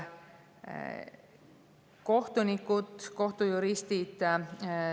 Kohtunikud, kohtujuristid …